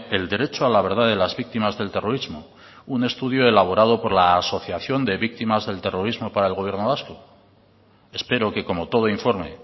el derecho a la verdad de las víctimas del terrorismo un estudio elaborado por la asociación de víctimas del terrorismo para el gobierno vasco espero que como todo informe